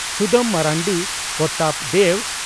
Sudam Marandi Pratap Dev